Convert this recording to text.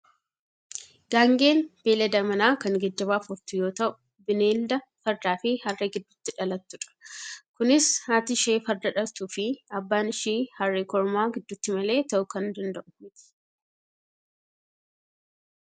Gaangeen beeylada manaa kan geejjibaaf ooltu yoo ta'u, bineelda fardaa fi harree gidduutti dhalattudha. Kunis haati ishee farda dhaltuu fi abbaan ishii harree kormaa gidduutti malee ta'uu kan danda'u miti.